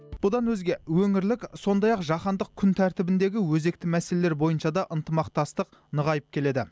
бұдан өзге өңірлік сондай ақ жаһандық күн тәртібіндегі өзекті мәселелер бойынша да ынтымақтастық нығайып келеді